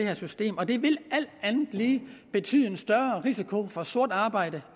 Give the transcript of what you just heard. af systemet og det vil alt andet lige betyde en større risiko for sort arbejde